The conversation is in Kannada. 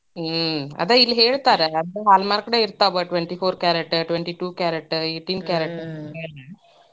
ಹ್ಮ್, ಅದ ಇಲ್ಲೇ ಹೇಳ್ತಾರ Hallmark ನ ಇರ್ತಾವ twenty four carat, twenty two carat, eighteen carat .